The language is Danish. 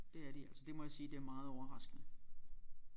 Det er de altså det må jeg sige det er meget overraskende